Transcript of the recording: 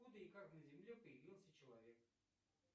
откуда и как на земле появился человек